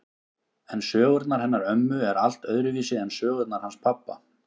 En sögurnar hennar ömmu eru allt öðruvísi en sögurnar hans pabba.